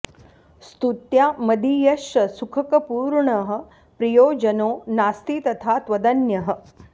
स्तुत्या मदीयश्च सुखकपूर्णः प्रियो जनो नास्ति तथा त्वदन्यः